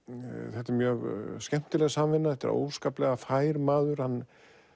þetta er mjög skemmtileg samvinna þetta er óskaplega fær maður hann